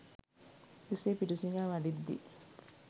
එසේ පිඬු සිඟා වඩිද්දී